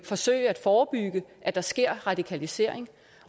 forsøge at forebygge at der sker radikalisering